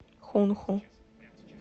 хунху